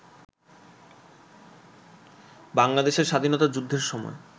বাংলাদেশের স্বাধীনতা যুদ্ধের সময়